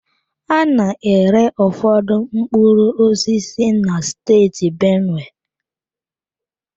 A na-ere ụfọdụ mkpụrụ osisi na steeti benue.